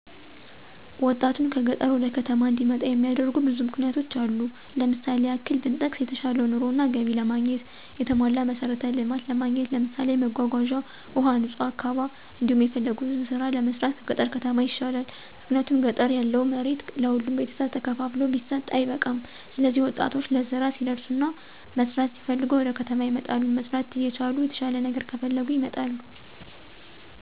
ወጣቱን ከገጠር ወደ ከተማ እንዲመጣ የሚያደርጉ ብዙ ምክንያቶች አሉ። ለምሳሌ ያክል ብንጠቅስ የተሻለ ኑሮ እና ገቢ ለማግኘት፣ የተሟላ መሠረተ ልማት ለማግኘት ለምሳሌ መጓጓዣ፣ ውሀ፣ ንጹህ አካባ፤ እንዲሁም የፈለጉትን ስራ ለመስራት ከገጠር ከተማ ይሻላል። ምክንያቱም ገጠር ያለው መሬት ለሁሉም ቤተሰብ ተከፋፍሎ ቢሰጥ አይበቃም ስለዚህ ወጣቶች ለስራ ሲደርሱና መስራት ሲፈልጉ ወደከተማ ይመጣሉ። መስራት እየቻሉም የተሻለ ነገር ከፈለጉ ይመጣሉ